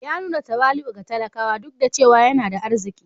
Ya nuna tawali'u ga talakawa, duk da cewa yana da arziki